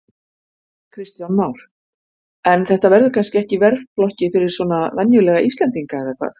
Kristján Már: En þetta verður kannski ekki í verðflokki svona fyrir venjulega íslendinga eða hvað?